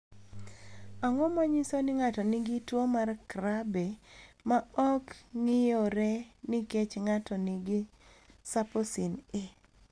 Ang’o ma nyiso ni ng’ato nigi tuwo mar Krabbe ma ok ng’iyore nikech ng’ato nigi Saposin A?